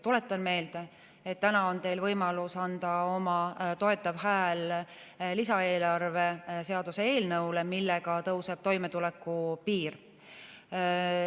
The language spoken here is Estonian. Tuletan meelde, et täna on teil võimalus anda oma toetav hääl lisaeelarve seaduse eelnõule, millega tõuseb toimetulekupiir.